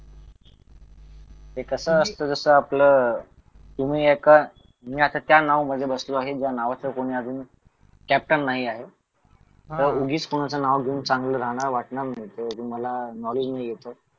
हे कसं असतं जसं आपलं तुम्ही एका मी आता त्या नाव मध्ये बसलो आहे ज्या नावाचा कोणी अजून कॅप्टन नाही आहे पण उगीच कुणाचं नाव घेऊन चांगलं राहणं वाटणार नाही जोवर तुम्हाला नॉलेज नाही येत तोवर